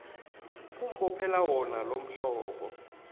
ukumbophela wona lomhlobo